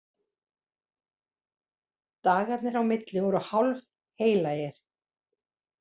Dagarnir á milli voru hálfheilagir.